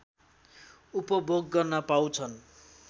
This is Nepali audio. उपभोग गर्न पाउँछन्